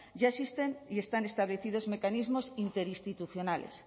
ya existen y están establecidos mecanismos interinstitucionales